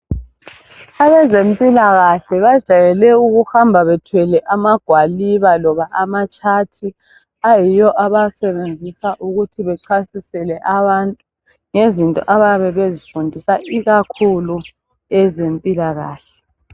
Abezempilakahle bajayele ukuhamba bethwele amagwaliba loba amatshathi ayiwo abawasebenzisa ukuthi bechasisele abantu ngezinto abayabe bezifundisa ikakhulu ezempilakahle.